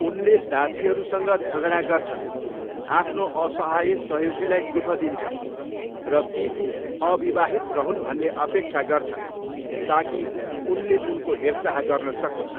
उनले दासीहरूसँग झगडा गर्छन्, आफ्नो असहाय सहयोगीलाई दुःख दिन्छन्, र पिकु अविवाहित रहून् भन्ने अपेक्षा गर्छन् ताकि उनले उनको हेरचाह गर्न सकून्।